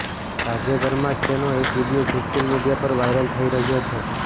તાજેતરમાં જ તેનો એક વિડીયો સોશિયલ મીડિયા પર વાયરલ થઇ રહ્યો છે